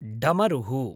डमरुः